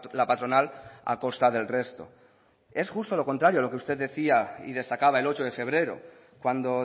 la patronal a costa del resto es justo lo contrario lo que usted decía y destacaba el ocho de febrero cuando